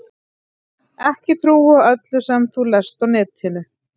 Ekki trúa öllu sem þú lest á netinu.